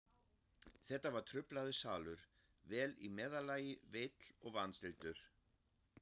Þetta var truflaður salur, vel í meðallagi veill og vanstilltur.